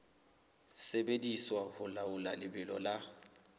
sebediswa ho laola lebelo la